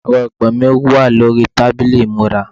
ẹrọ ìpè mi wà ní orí tábìlì ìmúra